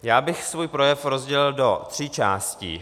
Já bych svůj projev rozdělil do tří částí.